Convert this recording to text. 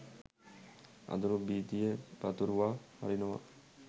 අඳුරු භීතිය පතුරුවා හරිනවා.